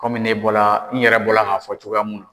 Kɔmi ne bɔla n yɛrɛ bɔla k'a fɔ cogoya mun na